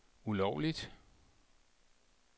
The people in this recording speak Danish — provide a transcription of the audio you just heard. ulovligt